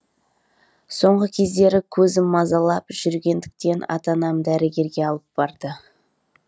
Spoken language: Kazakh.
соңғы кездері көзім мазалап жүргендіктен ата анам дәрігерге алып барды